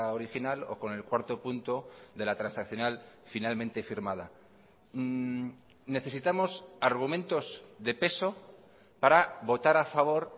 original o con el cuarto punto de la transaccional finalmente firmada necesitamos argumentos de peso para votar a favor